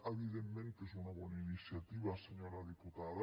evidentment que és una bona iniciativa senyora diputada